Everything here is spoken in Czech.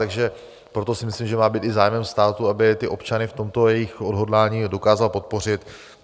Takže proto si myslím, že má být i zájmem státu, aby ty občany v tomto jejich odhodlání dokázal podpořit.